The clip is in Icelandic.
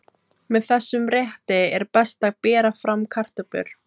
Með þessum rétti er best að bera fram kartöflur.